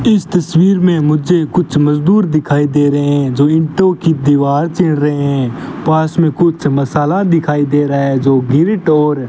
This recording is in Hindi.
इस तस्वीर में मुझे कुछ मजदूर दिखाई दे रहे हैं जो ईंटों की दीवार चिर रहे हैं पास में कुछ मसाला दिखाई दे रहा है जो गिरीट और --